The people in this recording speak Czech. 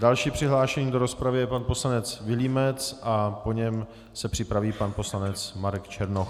Další přihlášený do rozpravy je pan poslanec Vilímec a po něm se připraví pan poslanec Marek Černoch.